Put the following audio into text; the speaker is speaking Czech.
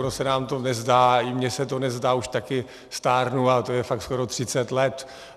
Ono se nám to nezdá, ani mně se to nezdá, už taky stárnu, a to je fakt skoro 30 let.